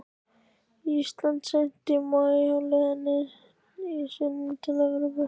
Íslandi seint í maí á leið sinni til Evrópu.